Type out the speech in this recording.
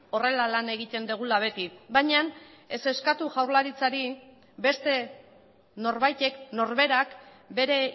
horrela lan egiten dugula beti baina ez eskatu jaurlaritzari beste norbaitek norberak bere